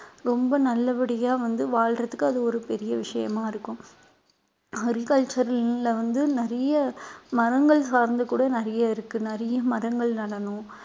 ரொம்ப நல்லபடியா வந்து வாழ்றதுக்கு அது ஒரு பெரிய விஷயமா இருக்கும் agriculture ல வந்து நிறைய மரங்கள் சார்ந்து கூட நிறைய இருக்கு நிறைய மரங்கள் நடணும்